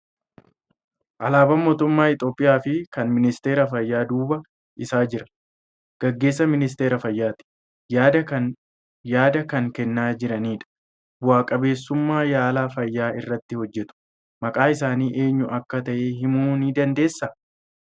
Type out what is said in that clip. Alaabaa mootummaa Itoophiyaa fi kan ministeera fayyaa duuba isaa jiru. Gaggeessaa ministeera Fayyaati. Yaada kan kennaa jiranidha. Bu'aa qabeessummaa yaala fayyaa irratti hojjetu. Maqaan isaanii eenyu akka ta'e himmuu ni dandeessaa?